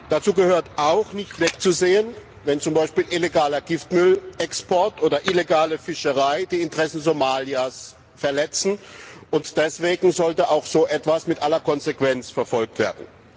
Dazu gehört auch, nicht wegzusehen, wenn zum Beispiel illegaler Giftmüllexport oder illegale Fischerei die Interessen Somalias verletzen, und deswegen sollte auch so etwas mit aller Konsequenz verfolgt werden.